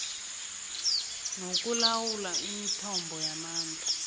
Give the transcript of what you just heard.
nokulawula imithombo yamandla